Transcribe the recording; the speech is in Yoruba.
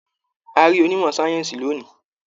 A rí onímọ̀-sáyẹ́ǹsì lónìí.